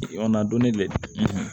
donnen dɛ